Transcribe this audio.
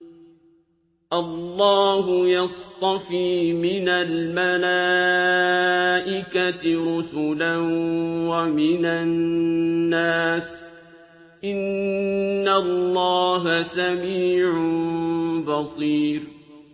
اللَّهُ يَصْطَفِي مِنَ الْمَلَائِكَةِ رُسُلًا وَمِنَ النَّاسِ ۚ إِنَّ اللَّهَ سَمِيعٌ بَصِيرٌ